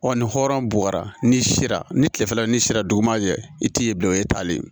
Ɔ ni hɔrɔn buwara ni sira ni kilefɛlanin sera duguma jɛ i t'i ye bilen o ye taalen ye